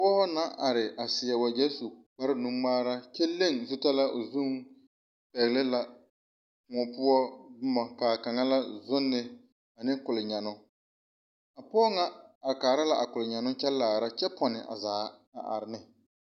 Pɔge na are a seɛ wagye su kpar nu ŋmaara a le zutara o zuriŋ pɛgele na kóɔ poɔ boma kaa kaŋ la zonnee ane kolnyɛnnoo a pɔge ŋa are kaara la a kolnyɛnnoo kyɛ kaara kyɛ ponne a zaa a are ne